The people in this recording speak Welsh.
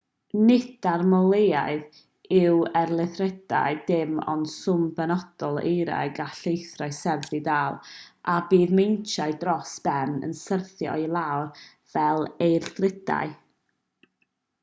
nid annormaledd yw eirlithriadau dim ond swm penodol o eira y gall llethrau serth ei ddal a bydd meintiau dros ben yn syrthio i lawr fel eirlithriadau